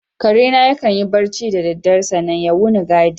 Karena ya kan yi barci da dare sannan ya wuni ya gadi.